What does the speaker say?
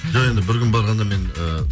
жоқ енді бір күн барғанда мен ыыы